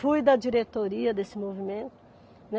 Fui da diretoria desse movimento.